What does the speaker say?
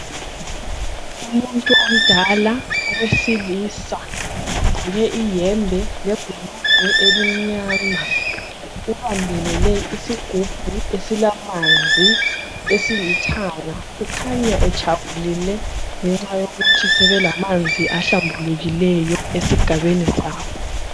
Umuntu omdala owesilisa ogqoke iyembe lebhulugwe elimnyama ubambelele isigubhu esilamanzi esilithanga ukhanya ejabulile ngenxa yokuthi sebelamanzi ahlambulukileyo esigabeni sabo.